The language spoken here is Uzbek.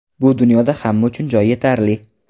Bu dunyoda hamma uchun joy yetarli.